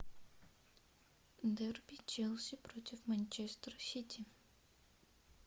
дерби челси против манчестер сити